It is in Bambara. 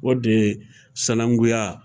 O de ye sanakunya.